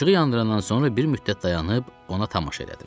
İşığı yandırandan sonra bir müddət dayanıb ona tamaşa elədim.